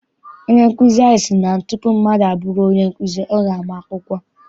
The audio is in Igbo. Onye nkụzi anyị si na tupu mmadụ abụrụ onye nkụzi, ọ ga ama akwụkwọ.